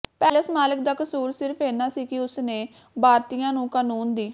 palace ਮਾਲਕ ਦਾ ਕਸੂਰ ਸਿਰਫ ਇੰਨਾ ਸੀ ਕਿ ਉਸ ਨੇ ਬਾਰਤੀਆਂ ਨੂੰ ਕਾਨੂੰਨ ਦੀ